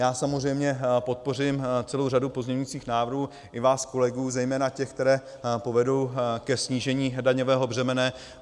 Já samozřejmě podpořím celou řadu pozměňujících návrhů i vás kolegů, zejména těch, které povedou ke snížení daňového břemene.